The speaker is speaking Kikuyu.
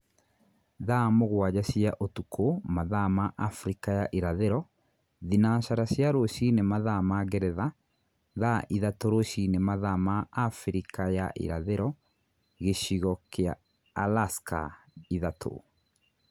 Thaa mũgwaja cia ũtukũ mathaa ma Abirika ya irathiro (thinacara cia rũcinĩ mathaa ma Ngeretha - Thaa ithatũ rũcini mathaa ma Abirika ya irathiro) Gĩchigo kia Alaska (Ithatu).